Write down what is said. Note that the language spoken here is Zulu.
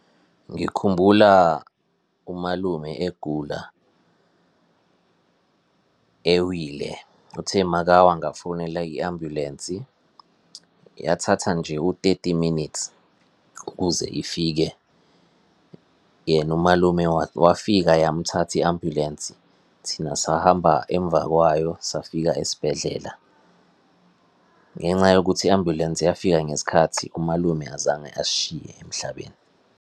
Ngikhumbula umalume egula, ewile. Uthe makawa ngafonela i-ambulensi, yathatha nje u-thirty minutes ukuze ifike. Yena umalume wafika yamthatha i-ambulensi, thina sahamba emva kwayo, safika esibhedlela. Ngenxa yokuthi i-ambulensi yafika ngesikhathi, umalume azange asishiye emhlabeni.